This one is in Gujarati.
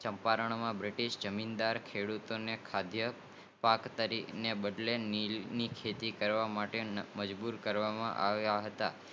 ચંપારણ માં બ્રિટિશ જમીનદાર ખેડૂતો ખઘીય પાર્ક તરીકે ની બદલે નીલ ની ખેતી કરવા માં મજબુર કરતા હતા